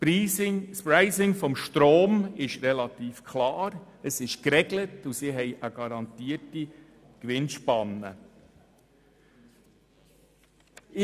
Das Pricing des Stroms ist relativ klar, es ist geregelt und die Gewinnspanne garantiert.